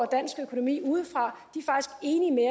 dansk økonomi udefra